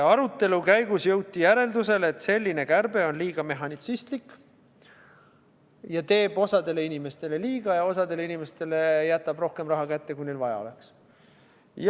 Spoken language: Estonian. Arutelu käigus jõuti järeldusele, et selline kärbe on liiga mehhanistlik, teeb osadele inimestele liiga ja osadele inimestele jätab kätte rohkem raha, kui neil vaja oleks.